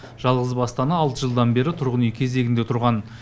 жалғызбасты ана алты жылдан бері тұрғын үй кезегінде тұрған